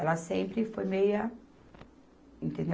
Ela sempre foi meia Entendeu?